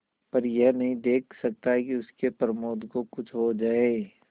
पर यह नहीं देख सकता कि उसके प्रमोद को कुछ हो जाए